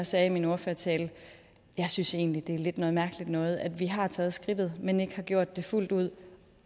sagde i min ordførertale jeg synes egentlig at det lidt er noget mærkeligt noget at vi har taget skridtet men ikke har gjort det fuldt ud